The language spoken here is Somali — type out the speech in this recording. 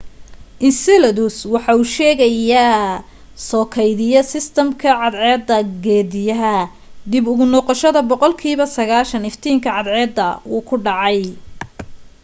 enceladus waa sheyga soo keydiya sistamka cadceed geediyaha dib ugu noqoshada boqol kiiba 90 iftiinka cadceda wuuw ku dhacay